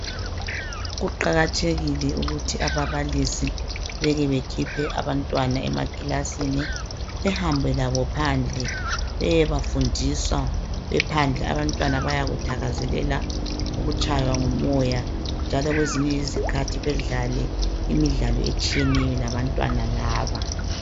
Kuqakathekile ukuthi ababalisi beke bekhiphe abantwana emakilasini, behambe labo phandle beyebafundisa bephandle. Abantwana bayakuthakazelela ukutshaywa ngumoya njalo kwezinye izikhathi bedlale imidlalo etshiyeneyo labantwana laba.